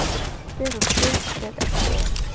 Fer á sker ef ekki er